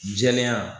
Jɛlenya